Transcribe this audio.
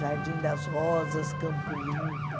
Jardim das Rosas, Campo Limpo.